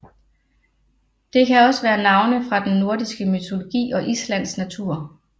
Det kan også være navne fra den nordiske mytologi og Islands natur